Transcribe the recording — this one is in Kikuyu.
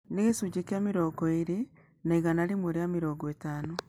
nĩkĩgicũnjĩya mĩrongo ĩrĩi ya igana rĩmwe rĩa mĩrongo ĩtano